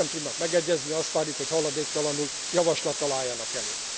Ha mégsem tudnak megegyezni, azt várjuk, hogy haladéktalanul javaslattal álljanak elő.